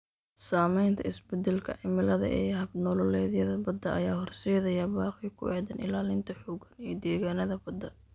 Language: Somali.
Saamaynta isbeddelka cimilada ee hab-nololeedyada badda ayaa horseedaya baaqyo ku aaddan ilaalinta xooggan ee deegaannada badda.